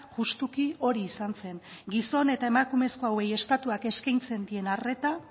justuki hori izan zen gizon eta emakumezko hauei estatuak eskaintzen dien arreta